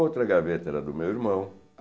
Outra gaveta era do meu irmão.